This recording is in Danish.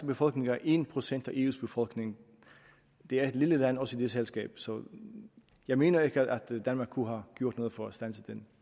befolkning er en procent af eus befolkning det er et lille land også i det selskab så jeg mener ikke danmark kunne have gjort noget for at standse